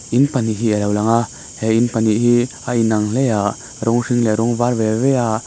in pahnih hi a lo lang a he in panih hi a inang hle a rawng hring leh rawng var ve ve a--